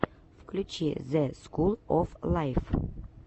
включи зе скул оф лайф